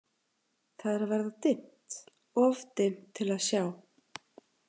Það er að verða dimmt, of dimmt til að sjá.